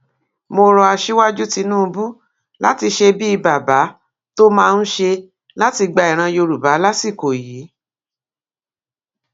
mo rọ aṣíwájú tìǹbù láti ṣe bíi bàbá tó máa ń ṣe láti gba ìran yorùbá lásìkò yìí